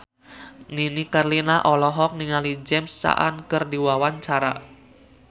Nini Carlina olohok ningali James Caan keur diwawancara